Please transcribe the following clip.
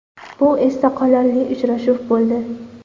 Bu esda qolarli uchrashuv bo‘ldi.